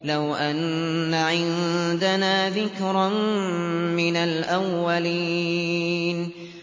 لَوْ أَنَّ عِندَنَا ذِكْرًا مِّنَ الْأَوَّلِينَ